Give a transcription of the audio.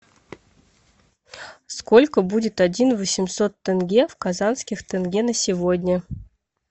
сколько будет один восемьсот тенге в казахских тенге на сегодня